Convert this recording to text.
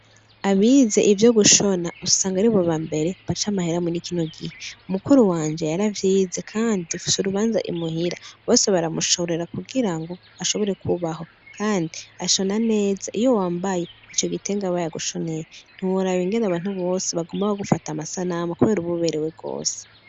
Abize ivyo gushona, usanga ari boba mbere bacamahera muriikino gihe . Mukuru wanje yaravyize kandi ufise urubanza imuhira. Bose baramushorera kugira ngo ashobore kubaho. Kandi ashona neza iyo wambaye icyo gitenga baya gushoneye nturabe nyene abantu bose bagombaho gufata amasanama kubera uba uberewe rwose.